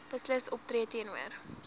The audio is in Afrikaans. beslis optree teenoor